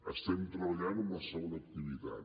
estem treballant en la segona activitat